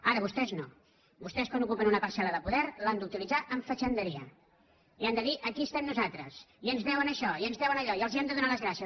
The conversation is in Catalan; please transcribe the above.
ara vostès no vostès quan ocupen una parcel·la de poder l’han d’utilitzar amb fatxenderia i han de dir aquí estem nosaltres i ens deuen això i ens deuen allò i els hem de donar les gràcies